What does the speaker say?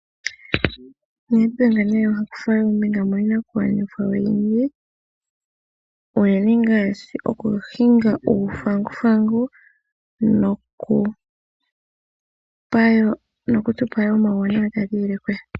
Nedbank nee ohakutha ombinga miinakugwanithwa oyindji, unene ngaashi okuhinga uuthanguthangu nokutupa woo omauwanawa taga ziilile kuye.